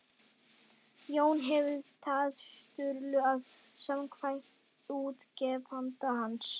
Jón hefur tjáð Sturlu að samkvæmt útgefanda hans